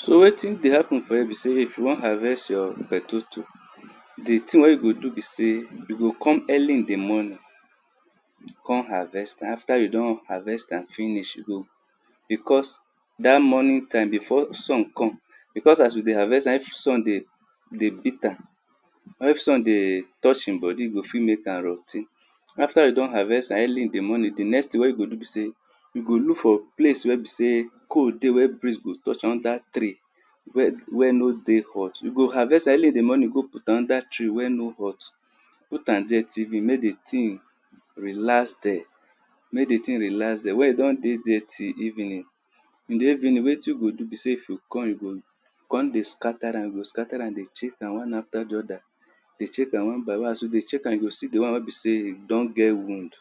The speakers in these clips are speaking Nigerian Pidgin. So wetin dey happen for her be sey if you won harvest you potato, di thing wen you go do so you o come early in di morning kon harvest amafter yo don harvest am finish, you o kon because dat morning time before sun come becaue as you dey harvest am if sun dey beat am or if sun dey touch e bodi, e o fit mek am rot ten. After you don harvest am early in di morning di next thing wey you go do b sey you go look for place wey be sey cold dey where breeze go touch am under tree wey no dey hot. You go harvest am early in di morning go put am under tree wey no dey hot, put am under there mek di thing relax there mey e don dey till evening. Till evening in di evening wetin you o do be sey you comedy scatter am dey check am one after di other as you dey check am, you go see di won wey be sey don get wound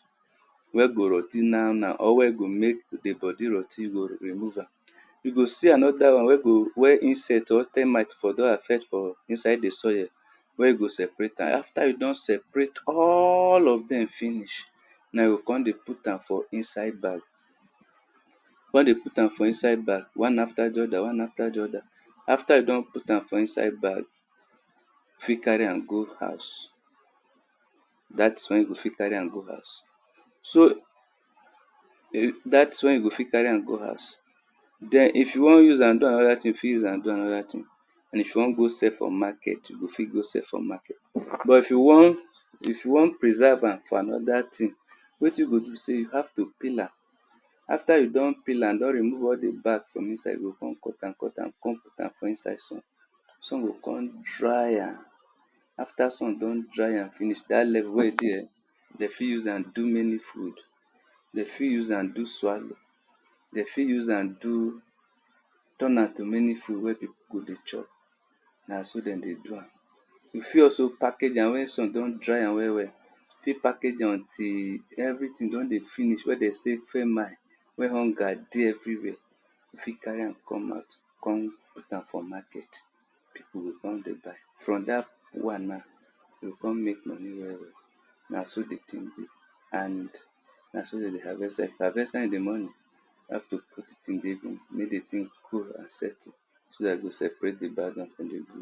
wey go rot ten na now or weygo mek di bodi rot ten you remove am. You go see anoda wan wey insect termite don affect for inside di soil wey go seperat am after e don seperat all of dem finish, nw you kon dey put am for inside bag, kon dey put am for inside bag one after di other. After yu don put am for inside bag, fit carry am go house. Dat wen you o fit carry am go house. Den if you won use am do anoda thing you, you fit use am do anoda thing and if you won go sell for market, you o fit go sell for market. But if you won preserve am for anoda thing wetin you go do be sey you hav to peel am, after you don pel am don remove all di back from inside, you o kon cut am kon put am sun o kon dry am after sun don dry am finish, da lebu wey you see eh, de fit use am do many food, de fit use am do swallow, de fit use am turn am to many food wey dem dey chop.na so den dey do am.you fit also package am wen sun don dry am we well fit package am until everything don dey finish wey dem sey we y hunger dey everywhere fit carry am come out kon put am for market, we o kon dey buy, from dat won now, you kon mek money well na so di thing be and na so de harvest am if you harvest am in di morning, you have to pt it in make di thing cold and settle so dat you go separate di bad won from di good won.